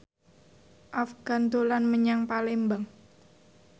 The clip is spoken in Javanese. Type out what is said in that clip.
Afgan dolan menyang Palembang